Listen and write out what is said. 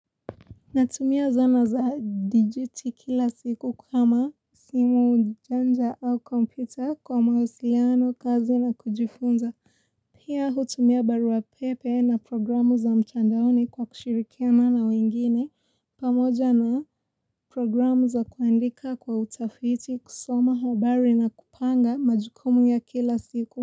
Natumia zana za dijuti kila siku kama simu janja au kompita kwa mahusiliano kazi na kujifunza. Pia hutumia barua pepe na programu za mtandaoni kwa kushirikiana na wengine. Pamoja na programu za kuandika kwa utafiti kusoma habari na kupanga majukumu ya kila siku.